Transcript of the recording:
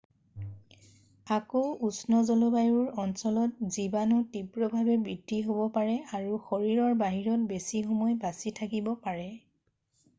আকৌ উষ্ণ জলবায়ুৰ অঞ্চলত জীৱণু তীব্ৰভাৱে বৃদ্ধি হ'ব পাৰে আৰু শৰীৰৰ বাহিৰত বেছি সময় বাছি থাকিব পাৰে